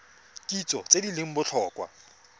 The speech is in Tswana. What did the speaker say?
kitso tse di leng botlhokwa